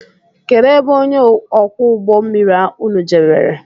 Kedụ ebe ọnye ókwú ụgbọ mmiri ụnụ jebere?